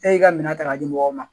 E y'i ka minɛ ta k'a di mɔgɔw ma